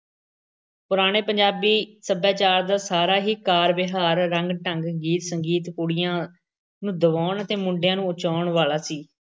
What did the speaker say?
ਪੁਰਾਣੇ ਪੰਜਾਬੀ ਸੱਭਿਆਚਾਰ ਦਾ ਸਾਰਾ ਹੀ ਕਾਰ-ਵਿਹਾਰ, ਰੰਗ-ਢੰਗ, ਗੀਤ-ਸੰਗੀਤ ਕੁੜੀਆਂ ਨੂੰ ਦਬਾਉਣ ਅਤੇ ਮੁੰਡਿਆਂ ਨੂੰ ਉਚਿਆਉਣ ਵਾਲਾ ਸੀ।